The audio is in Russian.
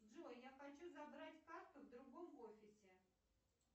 джой я хочу забрать карту в другом офисе